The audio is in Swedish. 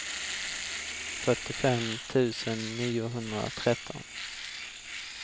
fyrtiofem tusen niohundratretton